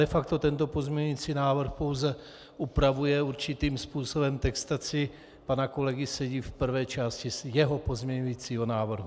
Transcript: De facto tento pozměňující návrh pouze upravuje určitým způsobem textaci pana kolegy Sedi v prvé části jeho pozměňujícího návrhu.